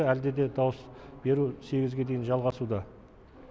әлде де дауыс беру сегізге дейін жалғасуда